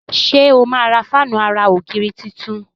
ṣe o má rà Fáànù àrà ògiri títún?